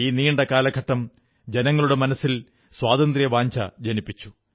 ഈ നീണ്ട കാലഘട്ടം ജനങ്ങളുടെ മനസ്സിൽ സ്വാതന്ത്ര്യവാഞ്ഛ ജനിപ്പിച്ചു